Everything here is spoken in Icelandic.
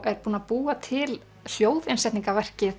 er búin að búa til